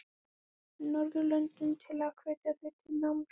Norðurlöndunum til að hvetja þau til náms?